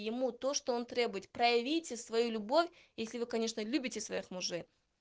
ему то что он требует проявите свою любовь если вы конечно любите своих мужей